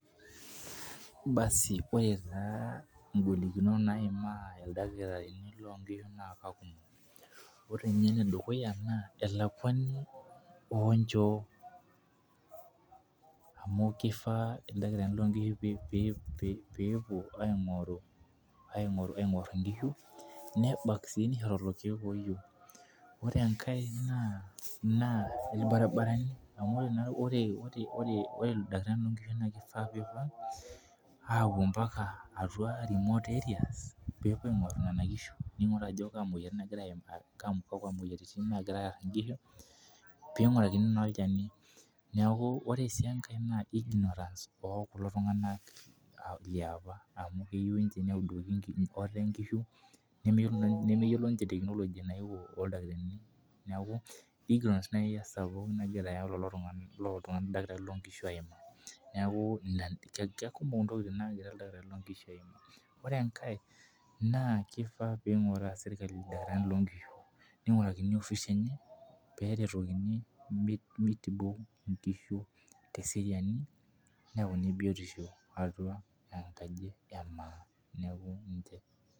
Basi ore taa ng'olikunot naimaa ildakitarini, loo nkishu naa, ore ninye ene dukuya naa elakuani oo nchoo, amu kifaa ildakitarini loo nkishu peepuo, aing'or nkishu, nebak sii lelo keek ooyieu, ore enkae naa, ilbarinarani amu ore naa ore, ildakitarini loo nkishu naa kifaa peepuo apuo mpaka remote areas peepuo aing'or Nena kishu, ningor ajo kakua moyiaritin naagira aimaa, pee ingurakini naa olchani ore sii enkae, ignorance oo kulo tunganak, amu keyieu ninche, nemeyiolo ninche technology nayewuo oldakitari. neeku ignorance esapuk, nagira lelo dakitarini loo nkishu aimaa. Neeku keikumok ntoky naagira ildakitarini aimaa, ore enkae naa kifaa pee inguraa sirkali ildakitarini loo nkishu, ningurakini office enye, pee eretokini, mitibu nkishu , teseriani neyauni biotisho atua enkaji. Neeku ninche.